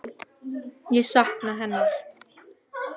Ég sakna hennar.